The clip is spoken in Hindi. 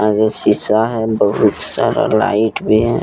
आगे शीशा है बहुत सारा लाइट भी है ।